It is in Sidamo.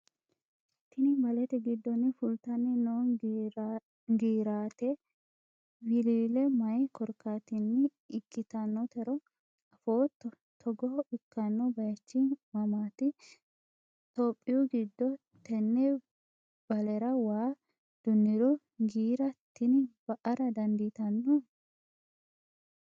tini balete giddonni fultanni noo giirate wiliile mayi korkaatinni ikkitannotero afootto? togo ikkanno bayiichi mamaati tophiyu giddo? tenne balera waa dunniro giira tini ba''ara dandiitanno?